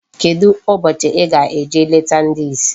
Kedụ ụbọchị ị ga-eje leta ndi isi?